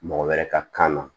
Mɔgɔ wɛrɛ ka kan na